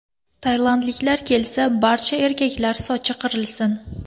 Tailandliklar kelsa, barcha erkaklar sochi qirilsin.